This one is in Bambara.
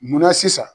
Munna sisan